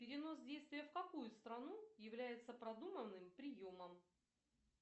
перенос действия в какую страну является продуманным приемом